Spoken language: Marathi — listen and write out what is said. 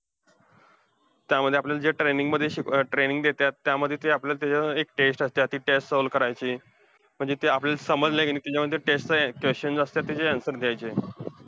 त्यामध्ये आपल्याला जे training मध्ये शिकवत अं training देत्यात, त्यामध्ये ते आपल्याला ते एक test असतीया. ती test solve करायची. म्हणजे ते आपल्याला समजली कि नाय, त्याच्यामध्ये ती test चे questions असतात, त्याचे answers द्यायचे.